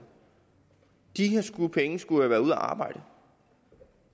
skulle have været ude at arbejde